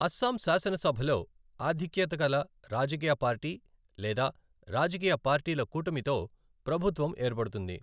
అస్సాం శాసనసభలో ఆధిక్యత గల రాజకీయ పార్టీ లేదా రాజకీయ పార్టీల కూటమితో ప్రభుత్వం ఏర్పడుతుంది.